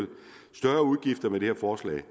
større udgifter med det her forslag